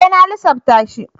E! Na lissafta shi.